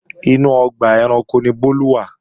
Inú ọgbà ẹranko ni Bólú wà